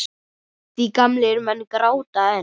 Því gamlir menn gráta enn.